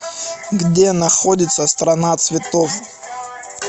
где находится страна цветов